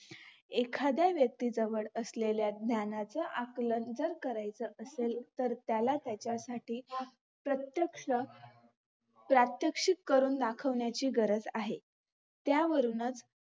एखाध्या व्यक्तीजवळ असलेल्या ज्ञानाचा आकलन जर करायच असेल तर त्याला त्याच्यासाठी प्रत्येक्ष प्रात्यक्षिक करून दाखवण्याची गरज आहे त्यावरुनच